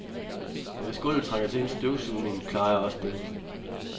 Og hvis gulvet trænger til en støvsugning, klarer jeg også det.